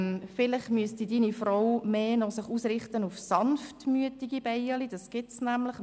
Vielleicht müsste Ihre Frau sich mehr auf sanftmütige Bienen ausrichten.